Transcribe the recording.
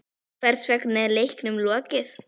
Hvers vegna er leiknum lokið?